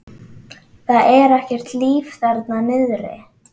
Það er ekkert líf þarna niðri.